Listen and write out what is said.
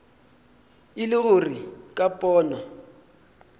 e le gore ka pono